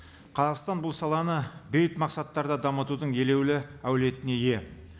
қазақстан бұл саланы бейбіт мақсаттарда дамытудың елеулі әулетіне ие